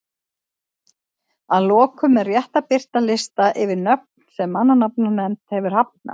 Að lokum er rétt að birta lista yfir nöfn sem mannanafnanefnd hefur hafnað.